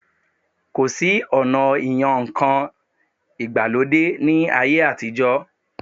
Kò sí ọ̀na ìyan ǹkan ìgbàlódé ní ayé àtijọ́